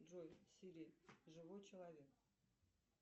джой сири живой человек